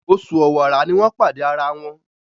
Oṣù Ọ̀wàrà ní wón pàdé àrà wón.